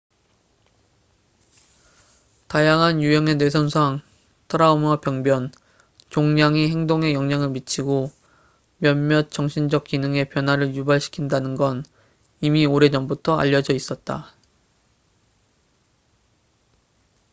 다양한 유형의 뇌 손상 트라우마 병변 종양이 행동에 영향을 미치고 몇몇 정신적 기능에 변화를 유발시킨다는건 이미 오래전부터 알려져 있었다